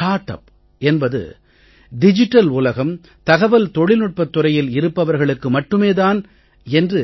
start up என்பது digital உலகம் தகவல் தொழில் நுட்பத் துறையில் இருப்பவர்களுக்கு மட்டுமே தான் என்று